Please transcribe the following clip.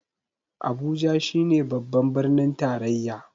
Abuja shi ne babban birnin tarayya